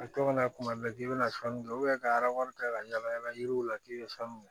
A to kana kuma bɛɛ k'i bɛna sanu kɛ ka wari ta ka yala yala yiriw la k'i bɛ sanu